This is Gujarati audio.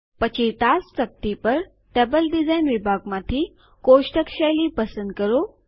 પછી ટાસ્ક તકતી પર ટેબલ ડિઝાઇન વિભાગ માંથી કોષ્ટક શૈલી પસંદ કરો